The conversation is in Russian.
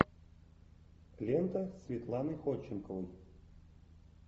лента светланы ходченковой